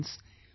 Friends,